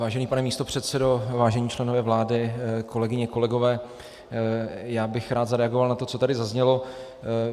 Vážený pane místopředsedo, vážení členové vlády, kolegyně, kolegové, já bych rád zareagoval na to, co tady zaznělo.